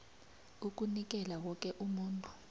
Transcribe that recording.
ukunikela woke umuntu